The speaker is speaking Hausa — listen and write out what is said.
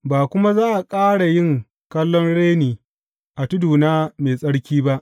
Ba kuma za ka ƙara yin kallon reni a tuduna mai tsarki ba.